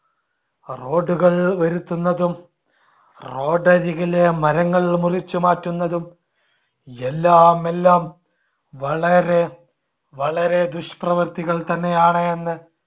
road കൾ വരുത്തുന്നതും road അരികിലെ മരങ്ങൾ മുറിച്ചുമാറ്റുന്നതും എല്ലാം എല്ലാം വളരെ വളരെ ദുഷ്പ്രവർത്തികൾ തന്നെയാണ് എന്ന്